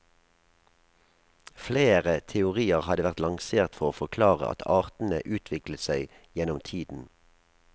Flere teorier hadde vært lansert for å forklare at artene utviklet seg gjennom tiden.